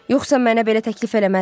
Yoxsa mənə belə təklif eləməzdiz.